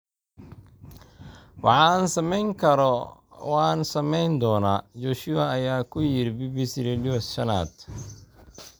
"Waxa aan samayn karo waan samayn doonaa," Joshua ayaa ku yidhi BBC Radio shanad.